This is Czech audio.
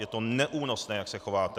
Je to neúnosné, jak se chováte.